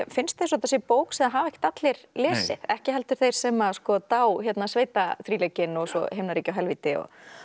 finnst eins og þetta sé bók sem hafa ekkert allir lesið ekki heldur þeir sem dá sveitaþríleikinn og svo himnaríki og helvíti